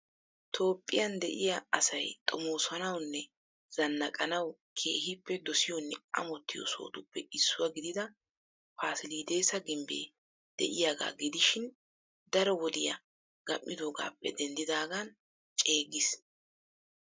Toophphiya de'iya asay xomoosanawunne zanaqqanawu keehiippe dosiyonne amottiyo sohotuppe issuwa gidida pasiledesa gimbbee de'iyaaga gidishshii daro wodiya gam'iidoogaappe denddidaagan ceeggis.